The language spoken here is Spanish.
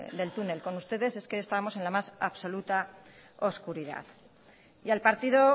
del túnel con ustedes es que estábamos en la más absoluta oscuridad y al partido